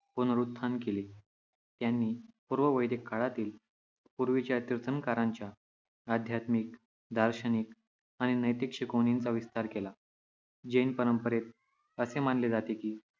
पुनरुत्थान केले. त्यांनी पूर्व-वैदिक काळातील पूर्वीच्या तीर्थंकरांच्या आध्यात्मिक, दार्शनिक आणि नैतिक शिकवणींचा विस्तार केला. जैन परंपरेत असे मानले जाते की